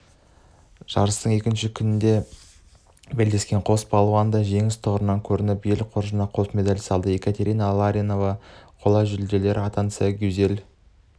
жарыстың екінші күнінде белдескен қос балуан да жеңіс тұғырынан көрініп ел қоржынына қос медаль салды екатерина ларинова қола жүлдегер атанса гюзель